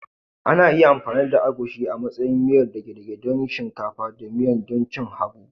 Ana iya amfani da agushi amantsayi miyar dage dage don cin shinkafa da miya don cin habu